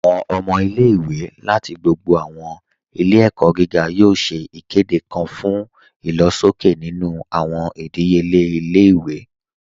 Awọn ọmọ ilẹ̀-iwé lati gbogbo awọn ilẹ̀-ẹ̀kọ giga yoo ṣè ikede kan fun ilọ̀ṣọkẹ̀ nínu awọn idíyelẹ̀ ilẹ̀-iwé